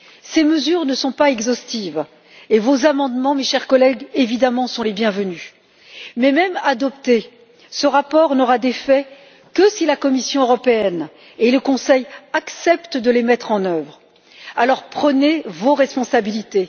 Ces mesures ne sont pas exhaustives et vos amendements, mes chers collègues, évidemment sont les bienvenus. Mais, même adopté, ce rapport n'aura d'effet que si la Commission européenne et le Conseil acceptent de mettre en œuvre ces mesures. Alors, prenez vos responsabilités.